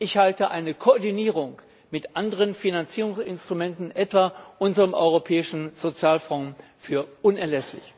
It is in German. Ich halte eine Koordinierung mit anderen Finanzierungsinstrumenten etwa unserem Europäischen Sozialfonds für unerlässlich!